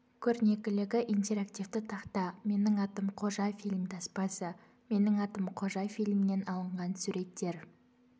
көрнекілігі интерактивті тақта менің атым қожа фильм таспасы менің атым қожа фильмінен алынған суреттер